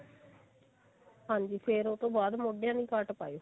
ਹਾਂਜੀ ਫ਼ੇਰ ਉਹਤੋਂ ਬਾਅਦ ਮੋਢਿਆਂ ਦੀ ਕਾਟ ਪਾਇਓ